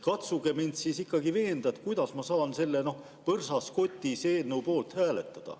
Katsuge mind ikkagi veenda, et ma peaksin selle "põrsas kotis" eelnõu poolt hääletama.